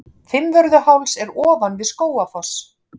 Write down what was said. Fimmvörðuháls er ofan við Skógafoss.